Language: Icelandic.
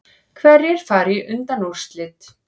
Hverjir fara í undanúrslit